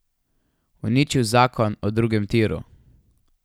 Uničil zakon o drugem tiru.